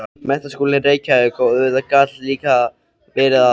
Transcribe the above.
Menntaskólinn í Reykjavík, og auðvitað gat líka verið að